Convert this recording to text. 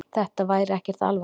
Þetta væri ekkert alvarlegt.